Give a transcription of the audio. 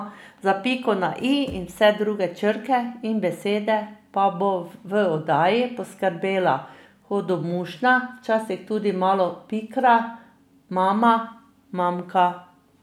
Za piko na i in vse druge črke in besede pa bo v oddaji poskrbela hudomušna, včasih tudi malo pikra mama Manka.